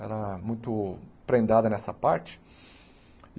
Era muito prendada nessa parte.